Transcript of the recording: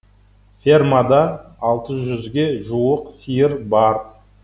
фермада алты жүзге жуық сиыр бар